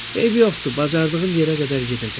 Eybi yoxdur, bacardığım yerə qədər gedəcəm.